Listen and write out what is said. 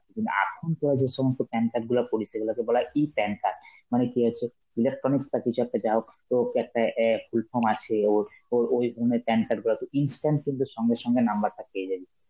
কিন্তু এখন তোরা যে সমস্ত PAN card গুলো করিস সেগুলোকে বলা হয় E-PAN card, মানে electronics বা কিছু একটা যাহোক তো কি একটা অ্যাঁ full form আছে ওর, ওর ওই ধরনের PAN card গুলা তুই instant কিন্তু সঙ্গে সঙ্গে number টা পেয়ে যাবি,